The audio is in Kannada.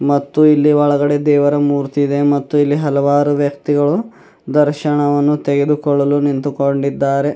ಮತ್ತು ಇಲ್ಲಿ ಒಳಗಡೆ ದೇವರ ಮೂರ್ತಿ ಇದೆ ಮತ್ತು ಇಲ್ಲಿ ಹಲವಾರು ವ್ಯಕ್ತಿಗಳು ದರ್ಶನವನ್ನು ತೆಗೆದುಕೊಳ್ಳಲು ನಿಂತುಕೊಂಡಿದ್ದಾರೆ.